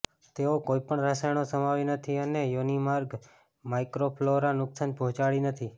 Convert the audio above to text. તેઓ કોઈપણ રસાયણો સમાવી નથી અને યોનિમાર્ગ માઇક્રોફલોરા નુકસાન પહોંચાડી નથી